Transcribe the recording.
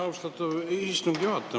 Austatud istungi juhataja!